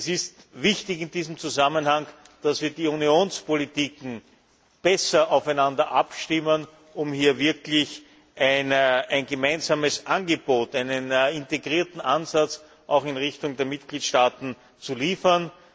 Es ist in diesem Zusammenhang wichtig, dass wir die Unionspolitiken besser aufeinander abstimmen, um hier wirklich ein gemeinsames Angebot, einen integrierten Ansatz auch in Richtung der Mitgliedstaaten zu liefern.